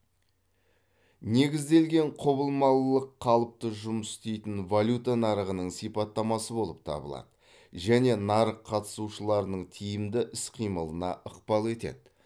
негізделген құбылмалылық қалыпты жұмыс істейтін валюта нарығының сипаттамасы болып табылады және нарық қатысушыларының тиімді іс қимылына ықпал етеді